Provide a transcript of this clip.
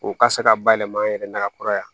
O ka se ka bayɛlɛma an yɛrɛ na ka kɔrɔ yan